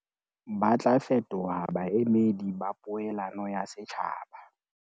Ba tla fetoha baemedi ba poelano ya setjhaba.